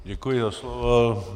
Děkuji za slovo.